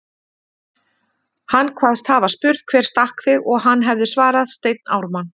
Hann kvaðst hafa spurt: Hver stakk þig? og hann hefði svarað: Steinn Ármann